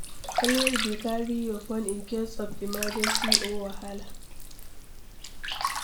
Always dey carry your phone in case of emergency or wahala.